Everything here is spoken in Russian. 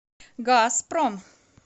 газпром